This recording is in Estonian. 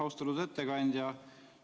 Austatud ettekandja!